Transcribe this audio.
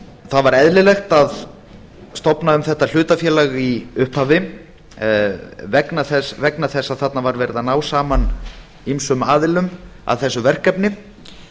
það var eðlilegt að stofna um þetta hlutafélag í upphafi vegna þess að þarna var verið að ná saman ýmsum aðilum að þessu verkefni